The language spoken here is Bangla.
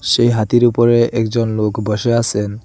সেই হাতির উপরে একজন লোক বসে আসেন।